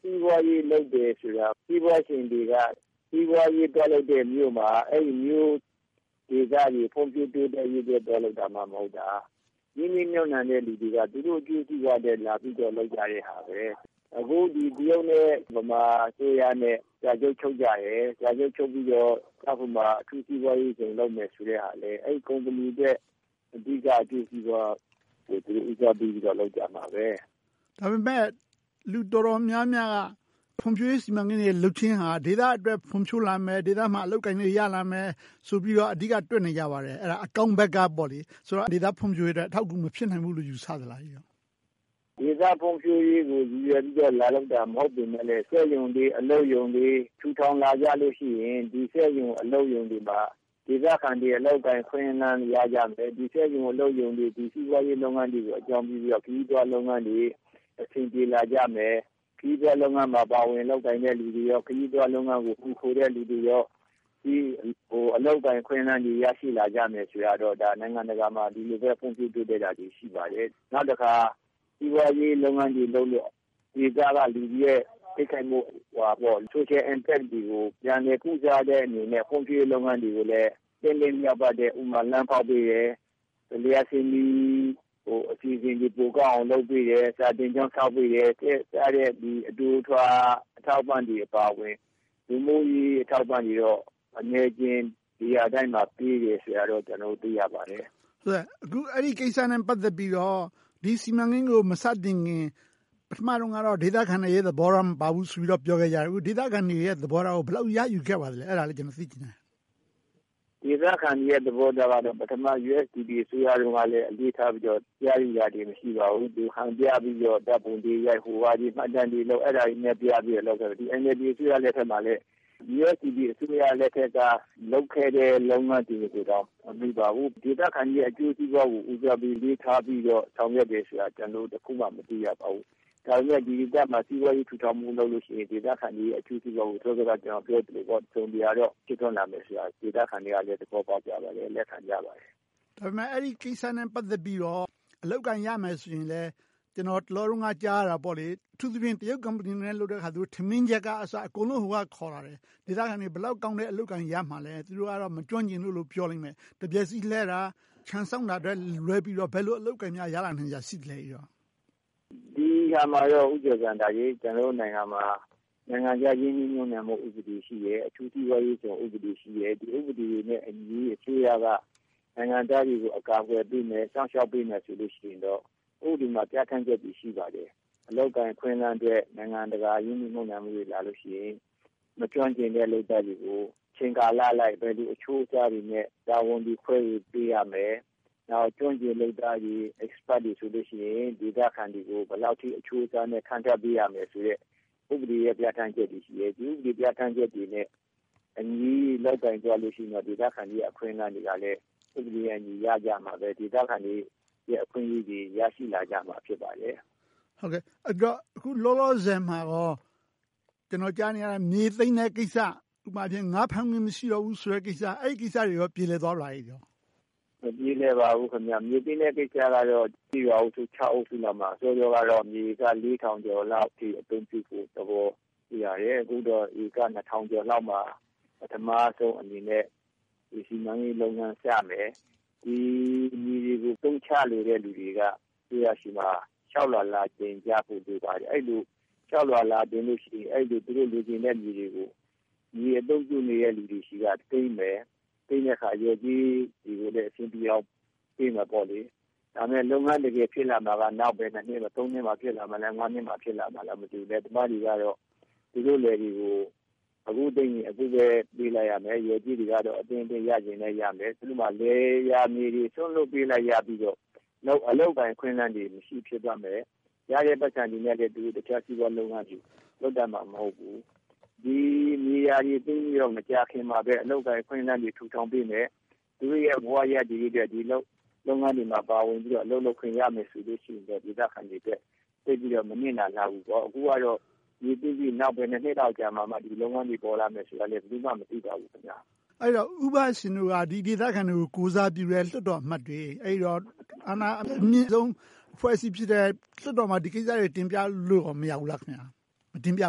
စီးပွားရေးလုပ်တယ်ဆိုတာ စီးပွားရှင်တွေက စီးပွားရေးသွားလုပ်တဲ့မြို့မှာ အဲဒီမြို့ဒေသတွေ ဖွံ့ဖြိုးတိုးတက်ရေးအတွက် သွားလုပ်တာမှ မဟုတ်တာ၊ ရင်းနှီးမြုပ်နံှတဲ့လူတွေက သူတို့အကျိုးစီးပွားအတွက် လာပြီးတော့ လုပ်သွားတာပါ။ အခု တရုတ်နဲ့ ဗမာအစိုးရနဲ့ စာချုပ်ချုပ်ပြီးတော့ ကျောက်ဖြူမှာ အထူးစီးပွားရေးဇုံ လုပ်မယ့်ဟာကလည်း အဲဒီကုမ္ပဏီရဲ့ အဓိကအကျိုးစီးပွားအတွက် လုပ်ကြမှာပါ။ ဒါပေမဲ့ လူတော်တော်များများက ဖွံ့ဖြိုးရေးစီမံကိန်းတွေ လုပ်ခြင်းဟာ ဒေသအတွက် ဖွံ့ဖြိုးလာမယ်။ ဒေသအတွင်း အလုပ်အကိုင်တွေ ရလာမယ်ဆိုပြီးတော့ အဓိကပြောနေကြပါတယ်။ အဲဒါ အကောင်းဘက်ကပေါ့ - ဒေသဖွံ့ဖြိုးရေးအတွက် အထောက်အကူ မဖြစ်နိုင်ဘူးလို့ ယူဆသလား။ ဒေသဖွံ့ဖြိုးရေးကို ရည်ရွယ်ပြီးတော့ လာလုပ်တာမဟုတ်ပေမယ့်လဲ စက်ရုံတွေ၊ အလုပ်ရုံတွေ ထူထောင်လာကြလို့ရှိရင် ဒီစက်ရုံ၊ အလုပ်ရုံတွေမှာ ဒေသခံတွေ အလုပ်အကိုင် အခွင့်အလမ်းတွေ ရကြမယ်။ ဒီစက်ရုံ၊ အလုပ်ရုံတွေ စီးပွားရေးလုပ်ငန်းတွေကို အကြောင်းပြုပြီးတော့ ခရီးသွားလုပ်ငန်းတွေ အဆင်ပြေလာကြမယ်။ ခရီးသွားလုပ်ငန်းမှာ ပါဝင်လုပ်ကိုင်ကြတဲ့လူတွေ၊ ခရီးသွားလုပ်ငန်းကို မှီခိုနေတဲ့ လူတွေလည်း အလုပ်အကိုင်အခွင့်အလမ်းတွေ ရရှိလာကြမယ်ဆိုတာတော့ နိုင်ငံတကာမှာ ဒီလိုပဲ ဖွံ့ဖြိုးတိုးတက်တာတွေ ရှိပါတယ်။ နောက်တခါ စီးပွားရေးလုပ်ငန်းတွေလုပ်လို့ ဒေသကလူတွေရဲ့ Social Impact တွေကို ပြန်လည်ကုစားတဲ့အနေနဲ့ ဖွ့ဖြိုးရေးလုပ်ငန်းတွေကိုလည်း သင့်တင့်လျောက်ပတ်တဲ့.. ဥပမာ လမ်းဖောက်ပေးတယ်။ လျှပ်စစ်မီးကို ပိုကောင်းအောင် လုပ်ပေးတယ်။ စာသင်ကျောင်းဆောက်ပေးတယ် စတဲ့ အတိုအထွာ အထောက်အပံ့တွေအပါအဝင် လူမှုရေးအထောက်အပံ့တွေတော့ အနည်းအကျဉ်း နေရာတိုင်းမှာ ပေးတယ်ဆိုတာတော့ ကျနော်တို့ သိရပါတယ်။ အခုအဲဒီကိစ္စနဲ့ ပတ်သက်ပြီးတော့ ဒီစီမံကိန်းကို မစတင်ခင် ပထမတုန်းကတော့ ဒေသခံတွေရဲ့ သဘောထားမပါဘူးလို့ ပြောခဲ့တယ်။ အခု ဒေသခံတွေရဲ့ သဘောထားကို ဘယ်လောက်ရယူခဲ့ပါသလဲ။ အဲဒါလေးကို ကျနော် သိချင်ပါတယ်။ ဒေသခံတွေရဲ့ သဘောထားကတော့ ပထမ USDP အစိုးရတုန်းကတော့ အလေးထားပြီးတော့ ရယူတာတွေ မရှိပါဘူး။ ဟန်ပြပြီးတော့ ဓါတ်ပုံတွေရိုက်၊ ဟိုဟာဒီဟာ မှတ်တမ်းတွေလုပ် အဲဒါတွေပြပြီးတော့ လုပ်ခဲ့တယ်။ အခု NLD အစိုးရလက်ထက်မှာလည်း USDP အစိုးရလက်ထက်က လုပ်ခဲ့တဲ့လုပ်ငန်းတွေကိုတောင် မမီပါဘူး။ ဒေသခံတွေရဲ့ အကျိုးစီးပွားကို ဦးစားပေး အလေးထားပြီးတော့ ဆောင်ရွက်တယ်ဆိုတာ ကျနော်တို့ တခုမှ မတွေ့ရပါဘူး။ ဒါပေမဲ့ ဒီဒေသမှာ စီးပွားရေးထူထောင်ဖို့ လုပ်မယ်ဆိုရင် ဒေသခံတွေရဲ့ အကျိုးစီးပွားကို စောစောက ကျနော်ပြောခဲ့သလို တစုံတရာတော့ ရှိလာမယ်ဆိုတာ ဒေသခံတွေက သဘောပေါက်ကြပါတယ်။ လက်ခံကြပါတယ်။ ဒါပေမဲ့ အဲဒီကိစ္စနဲ့ ပတ်သက်ပြီးတော့ အလုပ်အကိုင်ရကြမယ်ဆိုရင်လဲ ကျနော် တလောတုန်းက ကြားသိရတာက အထူးသဖြင့် တရုတ်ကုမ္ပဏီနဲ့ လုပ်တဲ့ဟာဆိုရင် ထမင်းချက်ကစ အကုန်လုံး တရုတ်ပြည်က ခေါ်လာတယ်။ ဒေသခံတွေ ဘယ်လောက်ကောင်းတဲ့ အလုပ်ရမှာလဲ။ သူတို့ကတော့ မကျွမ်းကျင်ဘူးလို့ ပြောလိမ့်မယ်။ တံမြက်စည်းလှည်တာ၊ ခြံစောင့်တာကလွဲလို့ ဘယ်လို အလုပ်အကိုင်မျိုးတွေ ရလာနိုင်စရာရှိလဲ။ ဒီအရာမှာတော့ ကျနော်တို့နိုင်ငံမှာ နိုင်ငံခြားရင်းနှီးမြုပ်နံှမှု ဥပဒေ ရှိတယ်။ အထူးစီးပွားရေးဇုံ ဥပဒေ ရှိတယ်။ အဲဒီဥပဒေတွေနဲ့အညီ အစိုးရက နိုင်ငံသားတွေကို အကာအကွယ်ပေးမယ်၊ စောင့်ရှောက်ပေးမယ်ဆိုလို့ရှိရင်တော့ ဥပဒေမှာ ပြဌာန်းချက်တွေ ရှိပါတယ်။ အလုပ်အကိုင်အခွင့်အလမ်းအတွက် နိုင်ငံတကာ ရင်းနှီးမြုပ်နံှမှုတွေ လာလို့ရှိရင် မကျွမ်းကျင်တဲ့ လုပ်သားတွေကို အချိန်ကာလအလိုက်၊ ဘယ်လိုအချိုးအစားတွေနဲ့ တာဝန်တွေ ခွဲဝေပေးရမယ်။ နောက် ကျွမ်းကျင်လုပ်သားတွေ၊ Expert တွေဆိုရင် ဒေသခံတွေကို ဘယ်လောက်အထိ အချိုးအစားနဲ့ ခန့်ထားပေးရမယ်ဆိုတဲ့ ဥပဒေပြဌာန်းချက်တွေ ရှိတယ်။ အဲဒီဥပဒေ ပြဌာန်းချက်တွေနဲ့အညီ လုပ်ကိုင်သွားမယ်ဆိုရင်တော့ ဒေသခံတွေရဲ့ အခွင့်အလမ်းတွေလည်း ဥပဒေနဲ့အညီ ရကြမယ်။ ဒေသခံတွေရဲ့ အခွင့်အရေးတွေ ရရှိလာကြမယ်။ အဲဒီတော့ အခုလောလောဆယ်မှာကော ကျနော်ကြားနေရတာက မြေသိမ်းတဲ့ကိစ္စ၊ ဥပမာ ငါးဖမ်းခွင့် မရှိတော့ဘူးဆိုတဲ့ကိစ္စ အဲဒီကိစ္စတွေကော ပြေလည်သွားပြီလား။ မပြေလည်ပါဘူး။ မြေသိမ်းတဲ့ကိစ္စကတော့ ကျေးရွာအုပ်စု စုလောက်မှာ စောစောကတော့ မြေဧက လေးထောင်ကျော်လောက် အသုံးပြုဖို့ သဘောရှိပါတယ်။ အခုတော့ ဧက နှစ်ထောင်ကျော်လောက်မှာ ပထမဦးဆုံးအနေနဲ့ ဒီ စီမံကိန်းလုပ်ငန်း စမယ်။ ဒီမြေတွေကို အသုံးချနေတဲ့ လူတွေက အစိုးရဆီမှာ လျှောက်လွှာလာတင်ဖို့ လိုပါတယ်။ အဲဒီလို လျှောက်လွှာလာတင်လို့ရှိရင် သူတို့လိုချင်တဲ့မြေတွေကို မြေအသုံးပြုနေတဲ့လူတွေဆီက သိမ်းမယ်။ သိမ်းတဲ့အခါ လျော်ကြေးလည်း အဆင်ပြေအောင်ပေးမယ်။ ဒါပေမဲ့ လုပ်ငန်းတကယ် ဖြစ်လာမှာက နောက် ဘယ်နှစ်နှစ်မှာ ဖြစ်လာမလဲ.. သုံးနှစ်လား၊ ငါးနှစ်လား မသိပါဘူး။ လယ်သမားတွေကတော့ သူတို့လယ်တွေကို အခုသိမ်းရင် အခုပဲ ပေးလိုက်ရမယ်။ လျော်ကြေးတွေကတော့ အသင့်အတင့်လည်း ရပါလိမ့်မယ်။ ဥပမာ လယ်ယာမြေတွေ စွန့်လွှတ်ရပြီးတော့ အလုပ်အကိုင် အခွင့်အလမ်းတွေ မရှိဘဲ ဖြစ်သွားမယ်။ ရတဲ့ပိုက်ဆံတွေနဲ့လည်း တခြားစီးပွားရေးလုပ်ငန်းတွေ လုပ်တတ်မှာ မဟုတ်ဘူး။ ဒီမြေယာတွေ သိမ်းပြီးတော့ မကြာခင်မှာပဲ အလုပ်အကိုင် အခွင့်အလမ်းတွေ ထူထောင်ပေးမယ်။ သူတို့ရဲ့ ဘဝရပ်တည်ရေးအတွက် ဒီလုပ်ငန်းတွေမှာ ပါဝင်ပြီး အလုပ်လုပ်ခွင့် ရမယ်ဆိုရင်တော့ ဒေသခံတွေအတွက် သိပ်ပြီးတော့ မနစ်နာဘူးပေါ့။ အခုကတော့ မြေသိမ်းပြီး နောက်ဘယ်နှစ်နှစ်လောက်မှ ဒီလုပ်ငန်းတွေ ပေါ်လာမလဲဆိုတာလဲ ဘယ်သူမှ မသိပါဘူး။ အဲဒီတော့ ဦးဘရှင်တို့က ဒီဒေသခံတွေကို ကိုယ်စားပြုတဲ့ လွှတ်တော်အမတ်တွေ။ အာဏာအမြင့်ဆုံး အဖွဲ့အစည်းဖြစ်တဲ့ လွှတ်တော်မှာ ဒီကိစ္စတွေကို တင်ပြလို့ မရဘူးလား။ မတင်ပြ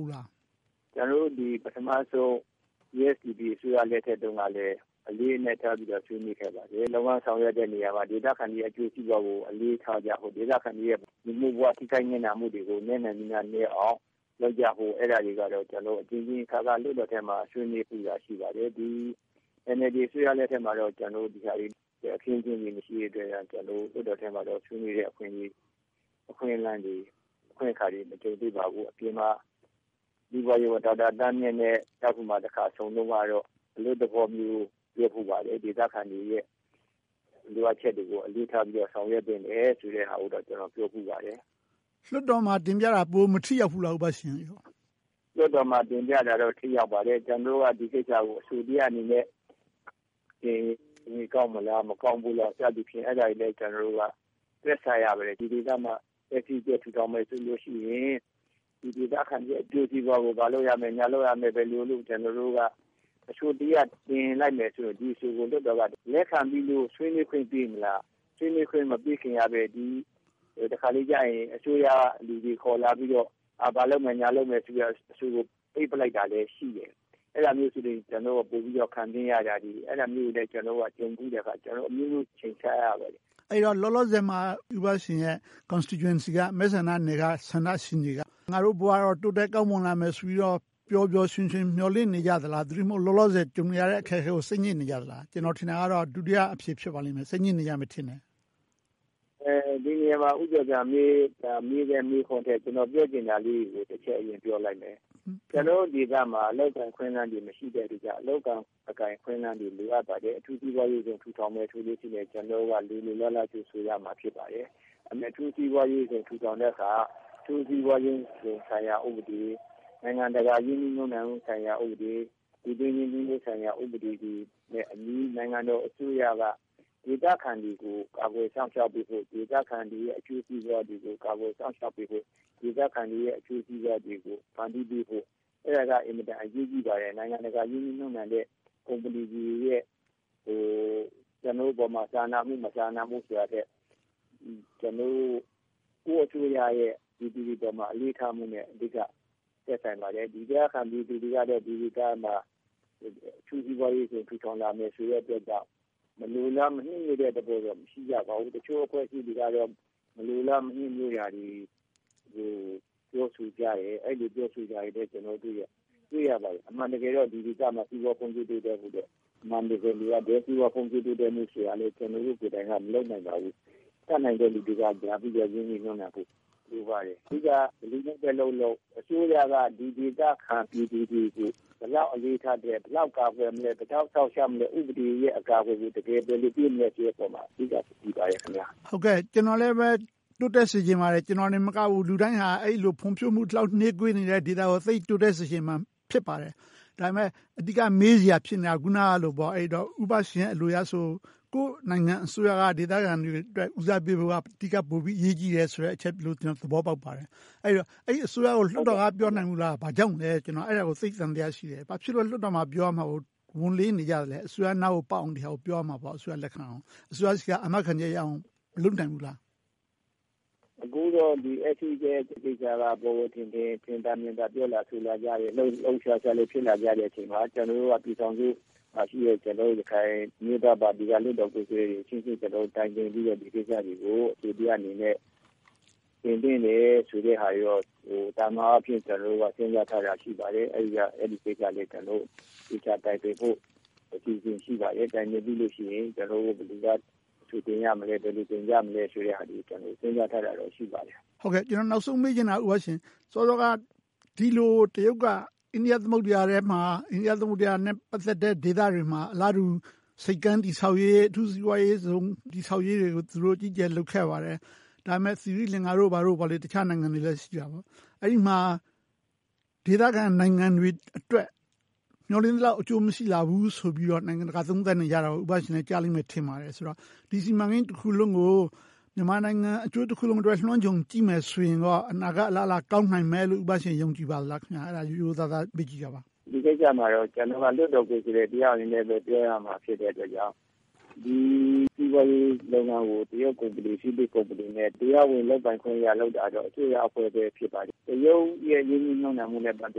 ဘူးလား။ ကျနော်တို့ ပထမဦးဆုံး USDP အစိုးရလက်ထက်တုန်းကလည်း အလေးအနက်ထားပြီးတော့ ဆွေးနွေးခဲ့ပါတယ်။ ဒီလိုလုပ်ငန်းဆောင်ရွက်တဲ့နေရာမှာ ဒေသခံတွေရဲ့ အကျိုးစီးပွားကို အလေးထားကြဖို့၊ ဒေသခံတွေရဲ့ လူမှုဘဝ ထိခိုက်နစ်နာစေမယ့်အရာတွေကို နည်းနိုင်သမျှနည်းအောင် လုပ်ကြဖို့ အဲဒါတွေကိုတော့ အကြိမ်ကြိမ်အခါခါ လွှတ်တော်ထဲမှာ ဆွေးနွေးခဲ့ပါတယ်။ အခု NLD အစိုးရလက်ထက်မှာတော့ ဒီအခင်းအကျင်းတွေ မရှိတဲ့အတွက် လွှတ်တော်ထဲမှာ ဆွေးနွေးနိုင်တဲ့ အခွင့်အလမ်းတွေ၊ အခွင့်အခါတွေ မကြုံသေးပါဘူး။ အပြင်မှာ စီးပွားကူးသန်းဝန်ကြီး ဒေါက်တာသန်းမြင့်နဲ့ ကျောက်ဖြူမှာ တခါဆုံတုန်းကတော့ အလွတ်သဘောမျိုး ပြောဖူးပါတယ်။ ဒေသခံတွေရဲ့ လိုအပ်ချက်တွေကို အလေးထားပြီးတော့ ဆောင်ရွက်သင့်တယ်ဆိုတာကိုတော့ ပြောဖူးပါတယ်။ လွှတ်တော်မှာ တင်ပြတာ ပိုမထိရောက်ဘူးလား။ လွှတ်တော်မှာ တင်ပြတာတော့ ထိရောက်ပါတယ်။ ကျနော်တို့ ဒီကိစ္စကို အဆိုတရပ်အနေနဲ့ တင်ရင်ကောင်းမလား၊ မကောင်းဘူးလား စသဖြင့် ကျနော်တို့က တွက်ဆရပါတယ်။ ဒီဒေသမှာ အထူးစီးပွားရေးဇုံ ထူထောင်မယ်ဆိုရင် ဒီဒေသခံတွေရဲ့ အကျိုးစီးပွားကို ဘာလုပ်ရမယ်၊ ညာလုပ်ရမယ်၊ ဘယ်လိုလုပ်ဆိုပြီး အဆိုတရပ် တင်လိုက်မယ်ဆိုရင် ဒီအဆိုကို လွှတ်တော်က လက်ခံပြီးတော့ ဆွေးနွေးခွင့် ပေးမလား။ ဆွေးနွေးခွင့် မပေးခင်ကပဲ တခါတလေကြရင် အစိုးရကလူတွေခေါ်လာပြီးတော့ ဘာလုပ်မယ်၊ ညာလုပ်မယ်ဆိုပြီးတော့ အဆိုကို ပိတ်လိုက်တာလည်း ရှိတယ်။ အဲဒီလိုမျိုးဆိုရင် ကျနော်တို့က ပိုပြီးတော့ ခံပြင်းရတာတွေ ရှိပြီး၊ အဲဒီလိုမျိုးကြုံဖူးတဲ့အခါကြတော့ အမျိုးမျိုးချိန်ဆရပါတယ်။ အဲဒီတော့ လောလောဆယ်မှာ ဦးဘရှင်ရဲ့ မဲဆန္ဒနယ်က ဆန္ဒရှင်တွေက ငါတို့ဘဝတော့ တိုးတက်ကောင်းမွန်လာမယ်ဆိုပြီးတော့ ပျော်ပျော်ရွှင်ရွင် မျှော်လင့်နေကြသလား။ သို့တည်းမဟုတ် လောလောဆယ် ကြုံနေရတဲ့ အခက်အခဲတွေကို စိတ်ညစ်နေကြသလား။ ကျနော်ထင်တာကတော့ ဒုတိယအဖြေ ဖြစ်ပါလိမ့်မယ်။ စိတ်ညစ်နေကြမယ်ထင်တယ်။ ဒီနေရမှာ ဦးကျော်ဇံသာ မေးတဲ့မေးခွန်းထက် ကျနော်ပြောချင်တာလေးတွေကို တချက်ပြောပါမယ်။ ကျနော်တို့ဒေသမှာ အလုပ်အကိုင် အခွင့်အလမ်းတွေ မရှိတဲ့အတွက်ကြောင့် အလုပ်အကိုင် အခွင့်အလမ်းတွေ လိုအပ်ပါတယ်။ အထူးစီးပွားရေးဇုံ ထူထောင်မယ်ဆိုရင် ကျနော်တို့က လိုလိုလားလား ကြိုဆိုရမှာ ဖြစ်ပါတယ်။ ဒါပေမဲ့ အထူးစီးပွားရေးဇုံ ထူထောင်တဲ့အခါ အထူးစီးပွားရေးဇုံဆိုင်ရာ ဥပဒေ၊ နိုင်ငံတကာရင်းနှီးမြုပ်နံှမှုဆိုင်ရာ ဥပဒေ၊ ပြည်တွင်းရင်းနှီးမြုပ်နံှမှု ဥပဒေတွေနဲ့အညီ နိုင်ငံတော်အစိုးရက ဒေသခံတွေကို ကာကွယ်စောင့်ရှောက်ပေးဖို့၊ ဒေသခံတွေရဲ့ အကျိုးစီးပွားတွေကို ကာကွယ်စောင့်ရှောက်ပေးဖို့၊ ဒေသခံတွေရဲ့ အကျိုးစီးပွားတွေကို ဖန်တီးပေးဖို့ အဲဒါတွေက အင်မတန်မှ အရေးကြီးပါတယ်။ နိုင်ငံတကာရင်းနှီးမြုပ်နှံတဲ့ ကုမ္ပဏီတွေရဲ့ ကျနော်တို့အပေါ်မှာ စာနာမှု၊ မစာနာမှုဆိုတာထက် ကျနော်တို့ ကိုယ့်အစိုးရရဲ့ ဒီအပေါ်မှာ အလေးထားမှုက အဓိက သက်ဆိုင်ပါတယ်။ ဒေသခံပြည်သူတွေက ဒီဒေသမှာ အထူးစီးပွားရေးဇုံ ထူထောင်လာမယ့်အတွက်ကြောင့် မလိုလားမနှစ်မြိုတာတော့ မရှိပါဘူး။ တချို့အဖွဲ့အစည်းတွေကတော့ မလိုလားမနှစ်မြိုတာတွေ ပြောဆိုကြတယ်။ အဲဒီလို ပြောဆိုနေတာတွေလည်း ကျနော်တို့ တွေ့ရပါတယ်။ အမှန်တကယ်တော့ ဒီဒေသမှာ စီးပွားရေးဖွံ့ဖြိုးတိုးတက်ဖို့ အမှန်တကယ် လိုအပ်တယ်။ စီးပွားဖွံ့ဖြိုးတိုးတက်ဖို့ကိုလည်း ကျနော်တို့ကိုယ်တိုင်က မလုပ်နိုင်ပါဘူး။ တတ်နိုင်တဲ့လူတွေက လာပြီးတော့ ရင်းနှီးမြုပ်နံှဖို့ လိုပါတယ်။ အဓိက ဘယ်သူနဲ့လုပ်လုပ် အစိုးရက ဒီဒေသခံ ပြည်သူတွေကို ဘယ်လောက်အလေးထားသလဲ။ ဘယ်လောက်ကာကွယ်ပေးနိုင်မလဲ။ ဘယ်လောက်စောင့်ရှောက်မလဲ။ ဥပဒေရဲ့ အကာအကွယ်ကို ဘယ်လိုလုပ်ပေးမလဲဆိုတဲ့အပေါ်မှာ မူတည်ပါတယ်။ ကျနော်လည်းပဲ တိုးတက်စေချင်ပါတယ်။ ကျနော်မကဘူး လူတိုင်းဟာ အဲဒီလို ဖွံ့ဖြိုးမှုနှေးကွေးနေတဲ့ ဒေသကို တိုးတက်စေချင်မှာ ဖြစ်ပါတယ်။ ဒါပေမဲ့ အဓိက မေးစရာဖြစ်နေတာက အခုနလို ဦးဘရှင်အလိုအရဆိုရင် ကိုယ့်နိုင်ငံအစိုးရက ဒေသခံတွေအတွက် ဦးစားပေးဖို့က အဓိကအရေးကြီးတယ်ဆိုတဲ့ အချက်လို့ ကျနော် သဘောပေါက်ပါတယ်။ အဲဒီတော့ အဲဒီအစိုးရကို လွှတ်တော်က မပြောနိုင်ဘူးလား။ ဘာကြောင့်လဲ အဲဒါကို ကျနော်သိပ်သံသယ ရှိနေတယ်။ ဘာဖြစ်လို့ လွှတ်တော်မှာပြောရမှာကို ဝန်လေးနေကြတာလဲ။ အစိုးရနားကိုပေါက်အောင်၊ လက်ခံအောင် ပြောရမှာပေါ့။ အစိုးရဆီက အာမခံချက်ရအောင် မလုပ်နိုင်ကြဘူးလား။ အခုတော့ အထူးစီးပွားရေးဇုံကိစ္စက ပေါ်ပေါ်ထင်ထင်၊ ထင်သာမြင်သာ ပြောလာဆိုလာကြတယ်။ လှုပ်လှုပ်ရှားရှားလည်း ဖြစ်လာချိန်မှာ ကျနော်တို့က ပြည်ထောင်စုလွှတ်တော်မှာရှိတဲ့ ကျနော်တို့ ရခိုင်အမျိုးသားပါတီက လွှတ်တော်ကိုယ်စားလှယ်တွေအချင်းချင်း တိုင်ပင်ပြီးတော့ ဒီကိစ္စတွေကို အဆိုတရပ်အနေနဲ့ တင်သွင်းတယ်ဆိုတဲ့ဟာတွေတော့ သာမန်အားဖြင့် စဉ်းစားထားတာ ရှိပါတယ်။ အဲဒီကိစ္စကို သေချာတိုင်ပင်ဖို့ အစီအစဉ် ရှိပါတယ်။ တိုင်ပင်ပြီလို့ရှိရင် ကျနော်တို့ ဘယ်သူက အဆိုတင်သွင်းမလဲ။ ဘယ်လိုတင်ပြကြမလဲဆိုတာတွေကို ကျနော်တို့ စဉ်းစားထားတာ ရှိပါတယ်။ နောက်ဆုံးမေးချင်တာက ဒီလိုတရုတ်က အိန္ဒိယသမုဒ္ဒရာထဲမှာ အိန္ဒိယသမုဒ္ဒရာနဲ့ ပတ်သက်တဲ့ ဒေသတွေမှာ အလားတူဆိပ်ကမ်း တည်ဆောက်ရေး၊ အထူးစီးပွားရေးဇုံ တည်ဆောက်ရေးတွေကို အကြီးအကျယ် လုပ်ခဲ့ပါတယ်။ ဒါပေမဲ့ သီရိလင်္ကာနဲ့ တခြားနိုင်ငံတွေမှာ ဒေသခံနိုင်ငံတွေအတွက် မျှော်လင့်သလောက် အကျိုးမရှိခဲ့ဘူးဆိုတာကို နိုင်ငံတကာက သုံးသပ်ပြောနေကြတာကို ဦးဘရှင်လည်း ကြားလိမ့်မယ် ထင်ပါတယ်။ ဒီ စီမံကိန်းတခုလုံးကို မြန်မာနိုင်ငံ အကျိုးတခုလုံးနဲ့ လွှမ်းခြုံကြည့်မယ်ဆိုရင် အနာဂတ်အလားအလာ ကောင်းနိုင်မယ်လို့ ဦးဘရှင် ယုံကြည်ပါလား။ ရိုးရိုးသားသား မေးကြည့်တာပါ။ ဒီကိစ္စမှာတော့ ကျနော်က လွှတ်တော်ကိုယ်စားလှယ်တယောက်အနေနဲ့ပဲ ပြောရမှာ ဖြစ်တဲ့အတွက်ကြောင့် ဒီစီးပွားရေးလုပ်ငန်းကို တရုတ်ကုမ္ပဏီနဲ့ တရားဝင်လုပ်ပိုင်ခွင့်ရလို့ လုပ်တာတော့ အစိုးရအဖွဲ့ပဲ ဖြစ်ပါတယ်။ တရုတ်ရဲ့ ရင်းနှီးမြုပ်နံှမှုနဲ့ ပတ်သ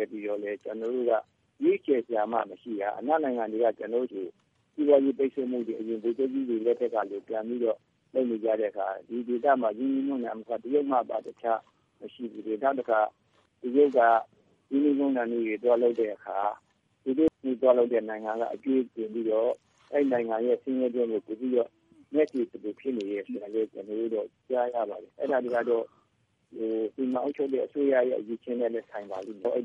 က်ပြီးတော့ ကျနော်တို့က ရွေးချယ်စရာမှ မရှိတာ။ အနောက်နိုင်ငံတွေက ကျနော်တို့ကို စီးပွားရေးပိတ်စို့မှုတွေကို ဗိုလ်ချုပ်ကြီးတွေ လက်ထက်တုန်းကလို ပြန်ပြီးတော့ လုပ်နေကြတဲ့အခါ ဒီဒေသမှာ ရင်းနှီးမြုပ်နံှမှုက တရုတ်မှတပါး အခြားမရှိဘူး။ နောက်တခါ တရုတ်က ရင်းနှီးမြုပ်နံှမှုတွေ လုပ်တဲ့အခါ သူတို့သွားလုပ်တဲ့နိုင်ငံက အကြွေးတင်ပြီးတော့ အဲဒီနိုင်ငံရဲ့ ဆင်းရဲတွင်းကို ပိုပြီးတော့ နက်စေသလို ဖြစ်နေတယ်ဆိုတာကိုတော့ ကျနော်တို့ ကြားသိရပါတယ်။ အဲဒါကတော့ စီမံအုပ်ချုပ်တဲ့ အစိုးရရဲ့ အရည်အချင်းနဲ့ ဆိုင်ပါလိမ့်မယ်။ အဲဒီ